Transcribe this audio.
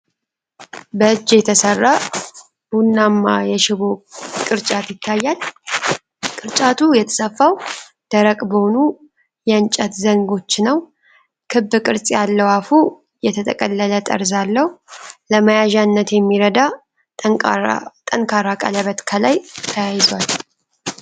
በእጅ የተሠራ ቡናማ የሽቦ ቅርጫት ይታያል። ቅርጫቱ የተሰፋው ደረቅ በሆኑ የእንጨት ዘንጎች ነው። ክብ ቅርጽ ያለው አፉ የተጠቀለለ ጠርዝ አለው። ለመያዣነት የሚረዳ ጠንካራ ቀለበት ከላይ ተያይዟል።